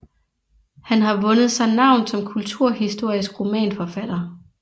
Han har vundet sig navn som kulturhistorisk romanforfatter